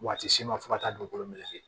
Waati ma fo ka taa dugukolo meleke